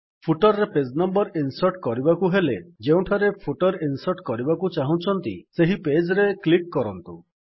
footer ରେ page number insert କରିବାକୁ ହେଲେ ଯେଉଁଠାରେ ଫୁଟର୍ ଇନ୍ସର୍ଟ କରିବାକୁ ଚାହୁଁଛନ୍ତି ସେହି ପେଜ୍ ରେ କ୍ଲିକ୍ କରନ୍ତୁ